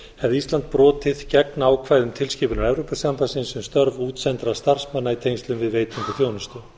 hefði ísland brotið gegn ákvæðum tilskipunar evrópusambandsins um störf útsendra starfsmanna í tengslum við veitingu þjónustu